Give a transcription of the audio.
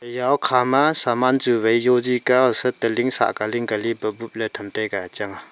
eya hokha ma saman chu wai yozi ka hosat holing sah ka ling ka li buk buk tham taiga.